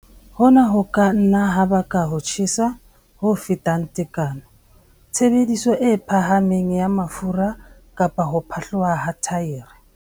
Hona ho ka nna ha baka ho tjhesa ho fetang tekano, tshebediso e phahameng ya mafura kapa ho phatloha ha thaere.